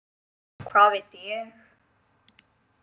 Hvað veit ég.